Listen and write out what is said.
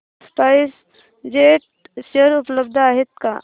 spice jet चे share उपलब्ध आहेत का